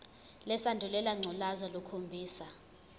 lesandulela ngculazi lukhombisa